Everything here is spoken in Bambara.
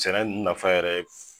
Sɛnɛ nafa yɛrɛ ye